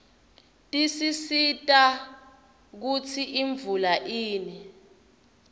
tisisita kutsi imvula ine